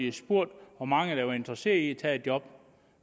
har spurgt hvor mange der var interesseret i at tage et job